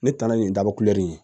Ne taara yen daba kulɛri